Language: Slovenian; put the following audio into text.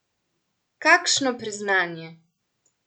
Kakšno priznanje!